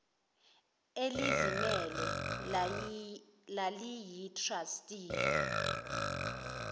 elizimele laliyi trustee